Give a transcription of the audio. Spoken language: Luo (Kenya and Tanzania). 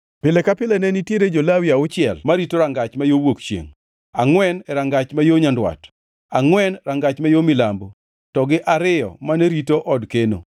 Pile ka pile ne nitiere jo-Lawi auchiel marito rangach ma yo wuok chiengʼ, angʼwen e rangach ma yo nyandwat, angʼwen rangach ma yo milambo, to gi ariyo ariyo mane rito od keno.